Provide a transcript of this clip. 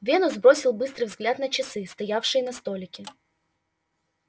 венус бросил быстрый взгляд на часы стоявшие на столике